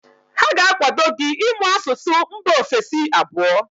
Ha ga-akwado gị ịmụ asụsụ mba ofesi abụọ.